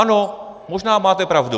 Ano, možná máte pravdu.